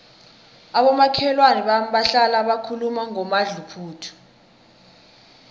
abomakhelwana bami bahlala bakhuluma ngomadluphuthu